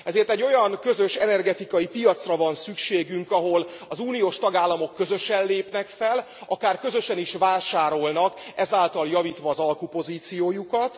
Ezért egy olyan közös energetikai piacra van szükségünk, ahol az uniós tagállamok közösen lépnek fel, akár közösen is vásárolnak ezáltal javítva az alkupozíciójukat.